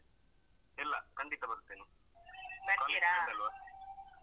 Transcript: ಇಲ್ಲ ಖಂಡಿತ ಬರ್ತೇನೆ college mate ಅಲ್ವಾ?